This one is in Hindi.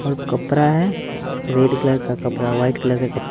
और कपड़ा है रेड कलर का कपड़ा वाइट कलर का कपड़ा--